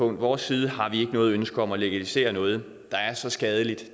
vores side har vi ikke noget ønske om at legalisere noget der er så skadeligt